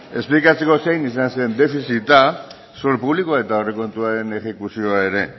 esplikatzeko zein izan zen defizita zor publikoa eta aurrekontuen exekuzioa ere